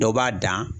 Dɔw b'a dan